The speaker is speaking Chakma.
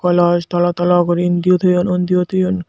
glos tolo tolo guri indiyo toyon undiyo toyon.